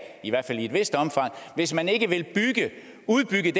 i hvert fald i et vist omfang hvis man ikke vil udbygge